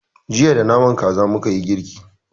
Jiya da naman kaza mukayi girki.